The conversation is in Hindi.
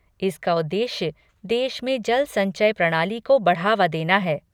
इसका उद्देश्य देश में जल संचय प्रणाली को बढ़ावा देना है।